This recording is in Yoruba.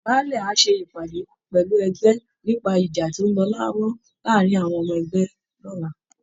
Baálẹ̀ á ṣe ìpàdé pẹ̀lú ẹgbẹ́ nípa ìjà tó ń lọ lọ́wọ́ láàárín àwọn ọmọ ẹgbẹ́ lọ́la